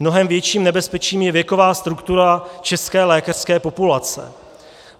Mnohem větším nebezpečím je věková struktura české lékařské populace.